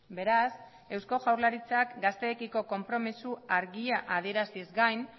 beraz eusko jaurlaritzak gazteekiko konpromiso argia adieraziz gain